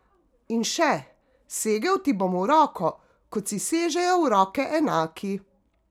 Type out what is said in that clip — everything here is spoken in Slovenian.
In še: "Segel ti bom v roko, kot si sežejo v roke enaki ...